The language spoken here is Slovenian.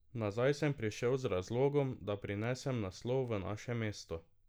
Nazaj sem prišel z razlogom, da prinesem naslov v naše mesto.